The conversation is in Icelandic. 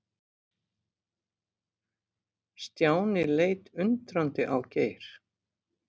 Stjáni leit undrandi á Geir.